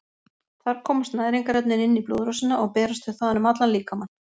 Þar komast næringarefnin inn í blóðrásina og berast þau þaðan um allan líkamann.